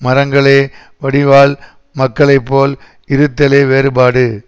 மரங்களே வடிவால் மக்களை போல் இருத்தலே வேறுபாடு